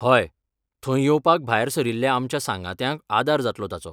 हय, थंय येवपाक भायर सरिल्ल्या आमच्या सांगात्यांक आदार जातलो ताचो.